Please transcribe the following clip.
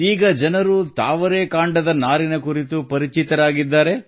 ಈಗ ಜನರು ತಾವರೆ ಕಾಂಡದ ನಾರಿನ ಕುರಿತು ಪರಿಚಿತರಾಗಿದ್ದಾರೆ